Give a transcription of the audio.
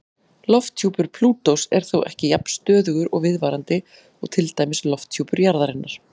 Lofthjúpur Plútós er þó ekki jafn stöðugur og viðvarandi og til dæmis lofthjúpur jarðarinnar.